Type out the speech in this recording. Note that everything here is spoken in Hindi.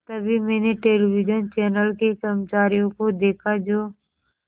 तभी मैंने टेलिविज़न चैनल के कर्मचारियों को देखा जो